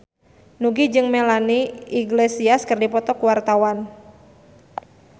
Nugie jeung Melanie Iglesias keur dipoto ku wartawan